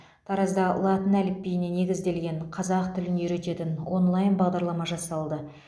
таразда латын әліпбиіне негізделген қазақ тілін үйрететін онлайн бағдарлама жасалды